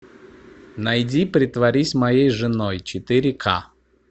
найди притворись моей женой четыре ка